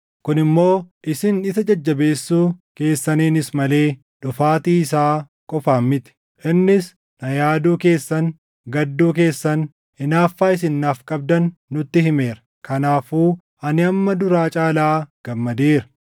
kun immoo isin isa jajjabeessuu keessaniinis malee dhufaatii isaa qofaan miti. Innis na yaaduu keessan, gadduu keessan, hinaaffaa isin naaf qabdan nutti himeera; kanaafuu ani hamma duraa caalaa gammadeera.